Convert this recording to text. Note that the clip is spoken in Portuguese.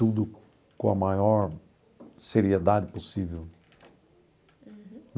Tudo com a maior seriedade possível. Uhum.